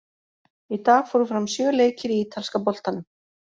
Í dag fóru fram sjö leikir í Ítalska boltanum.